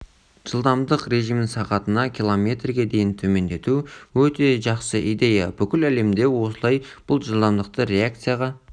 жылдамдық режимін сағатына километрге дейін төмендету өте жақсы идея бүкіл әлемде осылай бұл жылдамдықта реакцияға